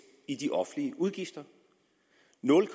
i de offentlige udgifter nul